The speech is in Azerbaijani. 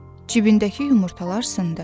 Cibindəki yumurtalar sındı.